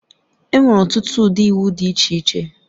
Enwere ọtụtụ ụdị iwu dị iche iche